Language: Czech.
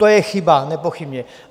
To je chyba, nepochybně.